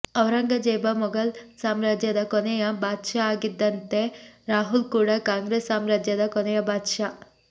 ಔರಂಗಜೇಬ ಮೊಘಲ್ ಸಾಮ್ರಾಜ್ಯದ ಕೊನೆಯ ಬಾದ್ಶಾ ಆಗಿದ್ದಂತೆ ರಾಹುಲ್ ಕೂಡ ಕಾಂಗ್ರೆಸ್ ಸಾಮ್ರಾಜ್ಯದ ಕೊನೆಯ ಬಾದ್ಶಾ